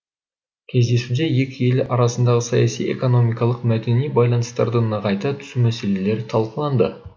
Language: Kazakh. кездесуде екі ел арасындағы саяси экономикалық мәдени байланыстарды нығайта түсу мәселелері талқыланды